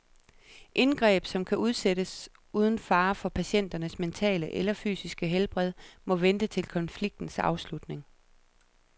Indgreb, som kan udsættes uden fare for patientens mentale eller fysiske helbred, må vente til konfliktens afslutning.